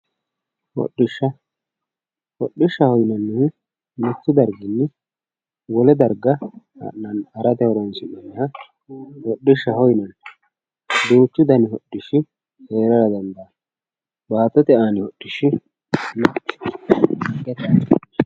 Hodhishsha, hodhishshaho yineemmohu mitu bayichini wole darga harate horonsi'neemmoha hodhishshaho yinanni duuchu dani hodhishshi heerara dandaano baattote aani hodhishshi.